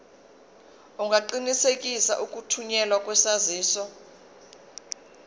ungaqinisekisa ukuthunyelwa kwesaziso